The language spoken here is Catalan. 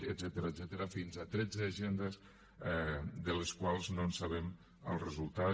etcètera fins a tretze agendes de les quals no en sabem el resultat